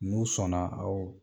Nun sɔn na aw